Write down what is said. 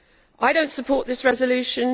I do not support this resolution.